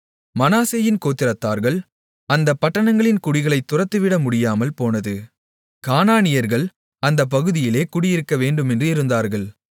மனாசேயின் கோத்திரத்தார்கள் அந்தப் பட்டணங்களின் குடிகளைத் துரத்திவிட முடியாமல்போனது கானானியர்கள் அந்தப் பகுதியிலே குடியிருக்கவேண்டுமென்று இருந்தார்கள்